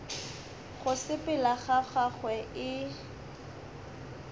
go sepela ga gagwe e